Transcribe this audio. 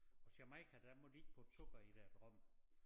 Og Jamaica der må de ikke putte sukker i deres rom